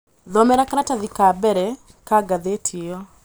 Thomera karatathi ka mbele ka gathīti iyo